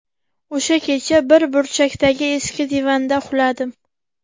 O‘sha kecha bir burchakdagi eski divanda uxladim.